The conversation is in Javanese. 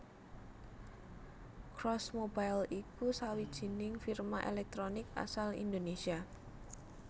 Cross Mobile iku sawijining firma èlèktronik asal Indonésia